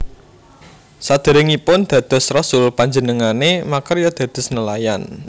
Sadèrèngipun dados rasul panjenengané makarya dados nelayan